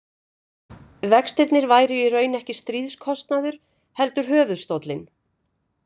Vextirnir væru í raun ekki stríðskostnaður, heldur höfuðstóllinn.